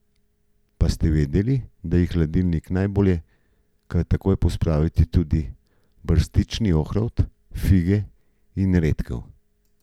Pa ste vedeli, da je v hladilnik najbolje kar takoj pospraviti tudi brstični ohrovt, fige in redkev?